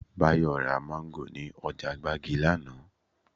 Báyọ̀ ra Máńgò ní ọjà gbági lánàá